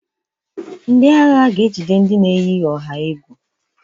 Ndị agha ga ejide ndị na-eyi ọha egwu.